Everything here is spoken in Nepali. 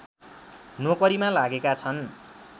नोकरीमा लागेका छन्